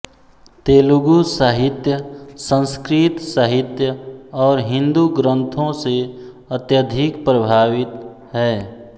तेलुगु साहित्य संस्कृत साहित्य और हिंदू ग्रंथों से अत्यधिक प्रभावित है